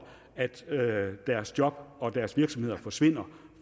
at deres job og deres virksomheder forsvinder